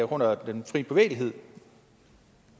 grund af den fri bevægelighed